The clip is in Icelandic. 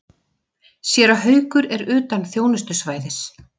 Séra Haukur er utan þjónustusvæðis.